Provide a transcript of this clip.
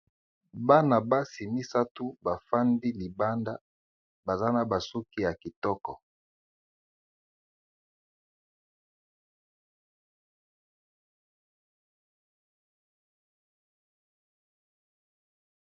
Bana basi misato bafandi libanda baza na ba suki ya kitoko.